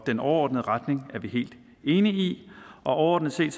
den overordnede retning er vi helt enige i og overordnet set